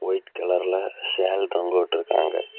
White கலர்ல shawl தொங்கவிட்டுருக்காங்க.